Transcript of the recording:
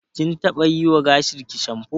Kin taɓa yiwa gashinki shamfo.